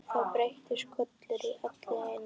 Þá birtist Kolur allt í einu.